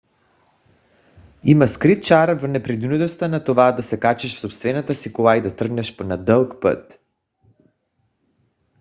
има скрит чар в непринудеността на това да се качиш в собствената си кола и да тръгнеш на дълъг път